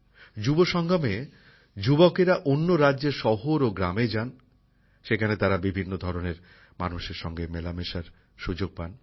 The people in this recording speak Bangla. যুবসঙ্গমে যুবকযুবতীরা অন্য রাজ্যের শহর ও গ্রামে যান সেখানে তারা বিভিন্ন ধরনের মানুষের সঙ্গে মেলামেশার সুযোগ পান